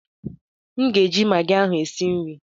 M ga-eji magị ahụ e si nri.